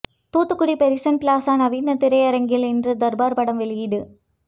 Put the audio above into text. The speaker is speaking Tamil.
தூத்துக்குடி பெரிசன் பிளாசா நவீன திரையரங்கில் இன்று தர்பார் படம் வெளியீடு